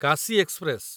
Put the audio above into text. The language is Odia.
କାଶୀ ଏକ୍ସପ୍ରେସ